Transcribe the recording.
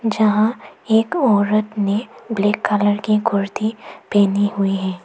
जहां एक औरत ने ब्लैक कलर की कुर्ती पहनी हुई है।